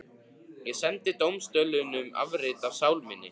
Ég sendi dómstólunum afrit af sál minni.